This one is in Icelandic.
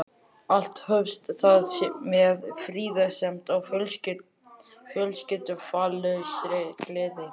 Allt hófst það með friðsemd og fölskvalausri gleði.